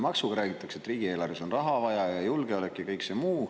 Alguses räägitakse, et riigieelarves on raha vaja, ja julgeolek ja kõik see muu.